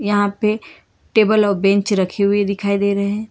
यहां पे टेबल और बेंच रखी हुई दिखाई दे रहे हैं।